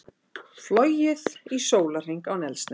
Flogið í sólarhring án eldsneytis